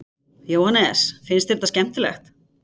Jóhannes: Finnst þér þetta skemmtilegt?